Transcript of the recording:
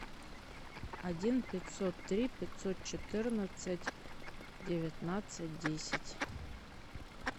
один пятьсот три пятьсот четырнадцать девятнадцать десять